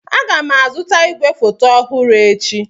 Aga m azụta igwefoto ọhụrụ echi.